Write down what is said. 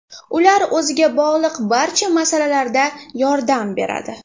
Ular o‘ziga bog‘liq barcha masalalarda yordam beradi.